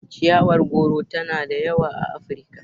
Ciyawar goro tana da yawa a Afirika.